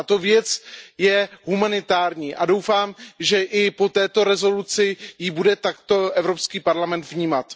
Tato věc je humanitární a doufám, že i po této rezoluci ji bude takto Evropský parlament vnímat.